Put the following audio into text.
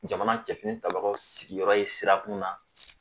Jamana cɛfini tabagaw sigiyɔrɔ ye sirakun na